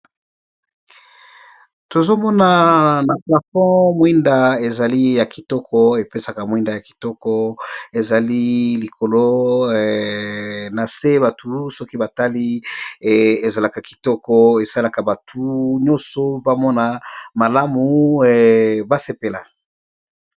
tozomona na plapon mwinda ezali ya kitoko epesaka mwinda ya kitoko ezali likolo na se batu soki batali ezalaka kitoko esalaka batu nyonso bamona malamu basepela